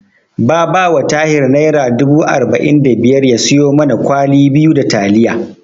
Ba ba wa Tahir Naira dubu arba'in da biyar ya siyo mana kwali biyu da taliya.